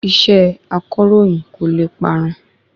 Iṣẹ́ akọ̀ròyìn kò le parun